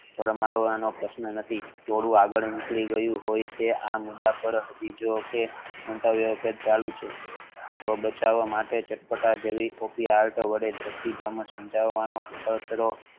ફરમાવવા નો પ્રશ્ન નથી ટોળુ આગળ નીકળું ગયું હોય છે આ મુદ્દા પર મંતવ્ય ચાલુ છે જીવ બચવા માટે ચટપટા જેવી અર્થ